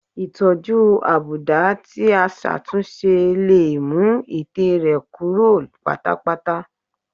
Ìtọ́jú àbùdá tí a ṣàtúnṣe lè mú ẹ̀tẹ̀ rẹ́ kúrò pátápátá